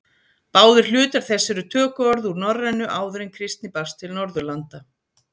Báðir hlutar þess eru tökuorð úr norrænu áður en kristni barst til Norðurlanda.